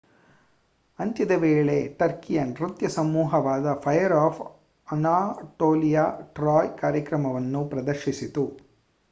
ಅಂತ್ಯದ ವೇಳೆ ಟರ್ಕಿಯ ನೃತ್ಯ ಸಮೂಹವಾದ ಫೈರ್ ಆಫ್ ಅನಾಟೋಲಿಯಾ ಟ್ರಾಯ್ ಕಾರ್ಯಕ್ರಮವನ್ನು ಪ್ರದರ್ಶಿಸಿತು